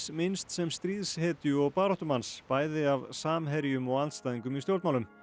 minnst sem stríðshetju og baráttumanns bæði af samherjum og andstæðingum í stjórnmálum